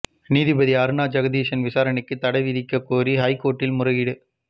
நீதிபதி அருணா ஜெகதீசன் விசாரணைக்கு தடை விதிக்கக் கோரி ஹைகோர்ட்டில் முறையீடு